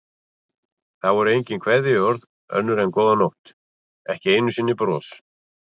Það voru engin kveðjuorð önnur en góða nótt, ekki einu sinni bros.